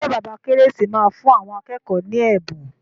Ṣé bàbá Kérésì máa fún àwọn akẹ́kọ̀ọ́ ní ẹ̀bùn.